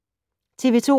TV 2